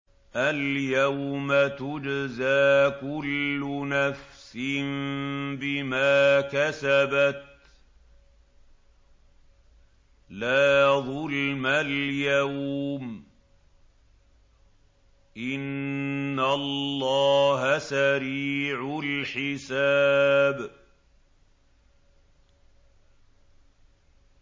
الْيَوْمَ تُجْزَىٰ كُلُّ نَفْسٍ بِمَا كَسَبَتْ ۚ لَا ظُلْمَ الْيَوْمَ ۚ إِنَّ اللَّهَ سَرِيعُ الْحِسَابِ